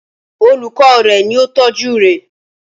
Olùkọ́ rè ni ó tọ́jú rè